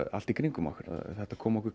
allt í kringum okkur þetta kom okkur